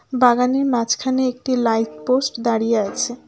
বাগানের মাঝখানে একটি লাইট পোস্ট দাঁড়িয়ে আছে।